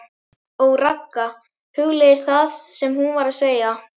OG RAGGA, hugleiðir það sem hún var að segja.